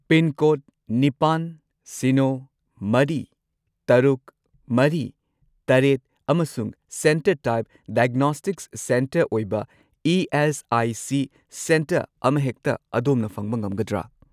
Pincode ꯅꯤꯄꯥꯟ, ꯁꯤꯅꯣ, ꯃꯔꯤ, ꯇꯔꯨꯛ, ꯃꯔꯤ, ꯇꯔꯦꯠ ꯑꯃꯁꯨꯡ ꯁꯦꯟꯇꯔ ꯇꯥꯏꯞ ꯗꯥꯏꯒꯅꯣꯁꯇꯤꯛꯁ ꯁꯦꯟꯇꯔ ꯑꯣꯏꯕ ꯏ.ꯑꯦꯁ.ꯑꯥꯏ.ꯁꯤ. ꯁꯦꯟꯇꯔ ꯑꯃꯍꯦꯛꯇ ꯑꯗꯣꯝꯅ ꯐꯪꯕ ꯉꯝꯒꯗ꯭ꯔꯥ?